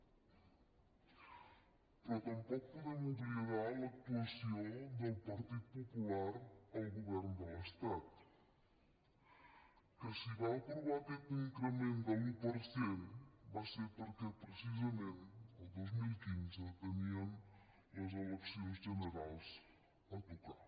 però tampoc podem oblidar l’actuació del partit popular al govern de l’estat que si va aprovar aquest increment de l’un per cent va ser perquè precisament el dos mil quinze tenien les eleccions generals a tocar